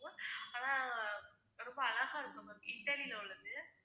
ஆனா ரொம்ப அழகா இருக்கும் ma'am இத்தாலில உள்ளது.